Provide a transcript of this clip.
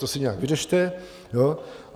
To si nějak vyřešte.